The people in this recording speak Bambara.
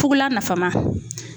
Fugulan nafama